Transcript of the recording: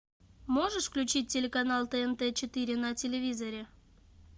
можешь включить телеканал тнт четыре на телевизоре